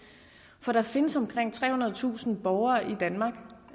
for der findes omkring trehundredetusind borgere i danmark